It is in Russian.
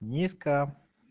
низко